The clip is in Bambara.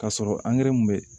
K'a sɔrɔ angɛrɛ mun be